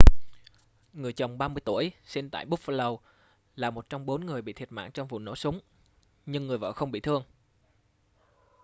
người chồng 30 tuổi sinh tại buffalo là một trong bốn người bị thiệt mạng trong vụ nổ súng nhưng người vợ không bị thương